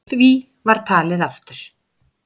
Því var talið aftur.